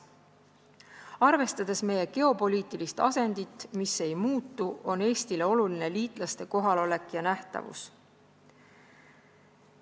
Arvestades meie geopoliitilist asendit, mis ei muutu, on Eestile oluline liitlaste kohalolek ja nähtavus.